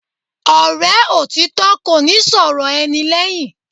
Ọ̀rẹ́ òtítọ́ kò ní sọ̀rọ̀ ẹni lẹ́yìn.